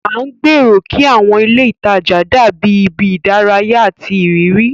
À ń gbèrò kí àwọn ilé ìtajà dàbí ibi ìdárayá àti ìrírí.